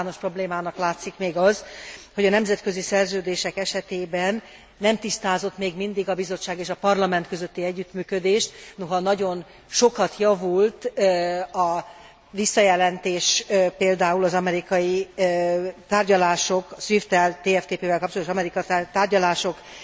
Általános problémának látszik még az, hogy a nemzetközi szerződések esetében nem tisztázott még mindig a Bizottság és a Parlament közötti együttműködés, noha nagyon sokat javult a visszajelentés, például az amerikai tárgyalások SWIFT tel, TFTP vel kapcsolatos amerikai tárgyalásokról